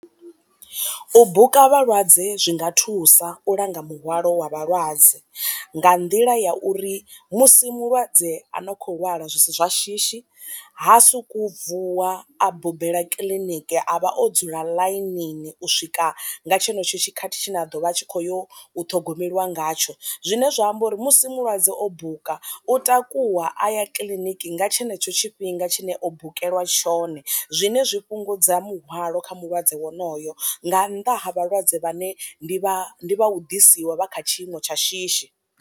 U buka vha lwadze zwi nga thusa u langa muhwalo wa vha lwadze nga nḓila ya uri musi mulwadze a no kho lwala zwisi zwa shishi ha suku vuwa a bubela kiḽiniki a vha o dzula ḽainini u swika nga tshenetsho tshikhathi tshine a ḓo vha tshi kho yo u ṱhogomeliwa ngatsho, zwine zwa amba uri musi mulwadze o buka u takuwa a ya kiḽiniki nga tshenetsho tshifhinga tshine o bukelwa tshone zwine zwi fhungudza muhwalo kha mulwadze wonoyo nga nnḓa ha vha lwadze vhane ndi vha ndi vha u ḓisiwa vha kha tshiimo tsha shishi.